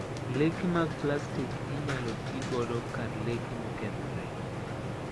Leke mag plastik inyalo ti godo kar leke mokethre.